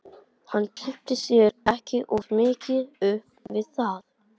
Hann kippti sér ekki of mikið upp við það.